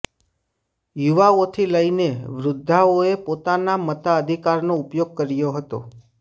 યુવાઓથી લઇને વૃદ્ધાઓએ પોતાના મતાધિકારનો ઉપયોગ કર્યો હતો